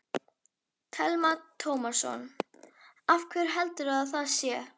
Telma Tómasson: Af hverju heldurðu að það sé?